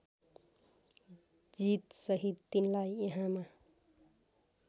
जितसहित तिनलाई यहाँमा